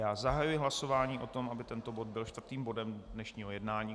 Já zahajuji hlasování o tom, aby tento bod byl čtvrtým bodem dnešního jednání.